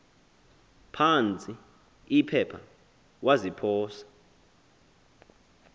phantsi iphepha waziphosa